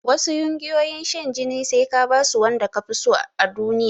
Wasu ƴungiyoyin shan jinin sai ka basu wanda kafiso a duniya